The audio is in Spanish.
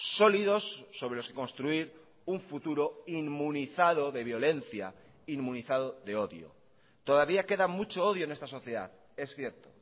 sólidos sobre los que construir un futuro inmunizado de violencia inmunizado de odio todavía queda mucho odio en esta sociedad es cierto